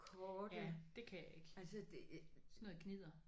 Ja det kan jeg ikke. Sådan noget gnidder